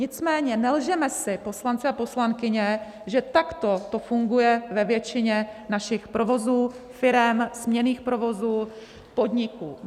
Nicméně nelžeme si, poslanci a poslankyně, že takto to funguje ve většině našich provozů, firem, směnných provozů, podniků.